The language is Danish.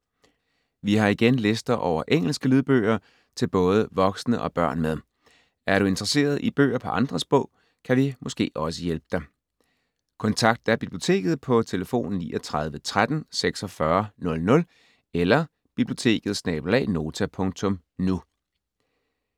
Vi har igen lister over engelske lydbøger til både voksne og børn med. Er du interesseret i bøger på andre sprog, kan vi måske også hjælpe dig. Kontakt da biblioteket på 39 13 46 00 eller biblioteket@nota.nu.